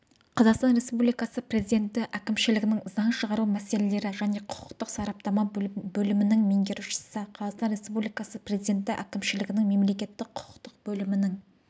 қазақстан республикасы президенті әкімшілігінің заң шығару мәселелері және құқықтық сараптама бөлімінің меңгерушісі қазақстан республикасы президенті әкімшілігінің мемлекеттік-құқықтық бөлімінің